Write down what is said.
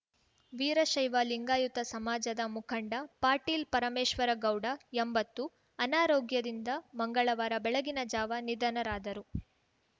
ವೀರಶೈವ ಲಿಂಗಾಯುತ ಸಮಾಜದ ಮುಖಂಡ ಪಾಟೀಲ್‌ ಪರಮೇಶ್ವರಗೌಡ ಎಂಬತ್ತು ಅನಾರೋಗ್ಯದಿಂದ ಮಂಗಳವಾರ ಬೆಳಗಿನ ಜಾವ ನಿಧನರಾದರು